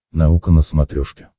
наука на смотрешке